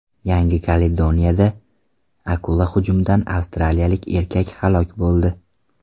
Yangi Kaledoniyada akula hujumidan avstraliyalik erkak halok bo‘ldi.